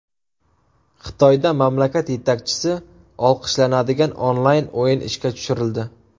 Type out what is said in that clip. Xitoyda mamlakat yetakchisi olqishlanadigan onlayn o‘yin ishga tushirildi.